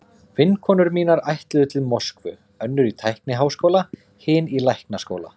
Vinkonur mínar ætluðu til Moskvu, önnur í tækniháskóla, hin í læknaskóla.